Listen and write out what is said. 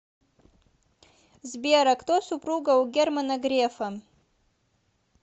сбер а кто супруга у германа грефа